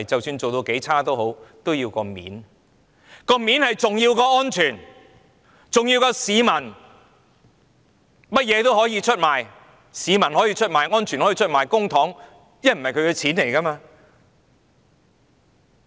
面子較安全重要、較市民重要，為了面子，甚麼也可以出賣，市民可以出賣、安全可以出賣、公帑也可以出賣。